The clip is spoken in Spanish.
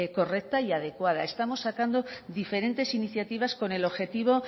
correcta y adecuada estamos sacando diferentes iniciativas con el objetivo